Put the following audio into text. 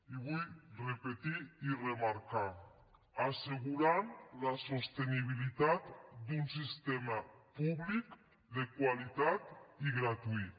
i ho vull repetir i remarcar assegurant la sostenibilitat d’un sistema públic de qualitat i gratuït